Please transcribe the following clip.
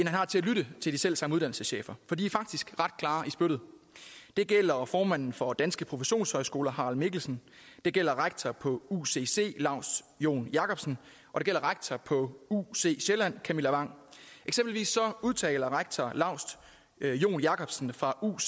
har til at lytte til de selv samme uddannelseschefer for de er faktisk ret klare i spyttet det gælder formanden for danske professionshøjskoler harald mikkelsen det gælder rektor på ucc laust joen jakobsen og det gælder rektor på uc sjælland camilla wang eksempelvis udtaler rektor laust joen jakobsen fra uuc